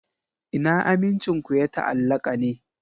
Ina amincin ku ya ta'allaka ne?